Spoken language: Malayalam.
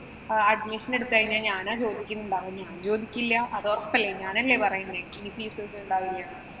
admission എടുത്തുകഴിഞ്ഞാല് ഞാനാ ചോദിക്കുന്നുണ്ടാവുക. ഞാന്‍ ചോദിക്കില്ല. അതൊറപ്പല്ലേ. ഞാനല്ലേ പറയുന്നേ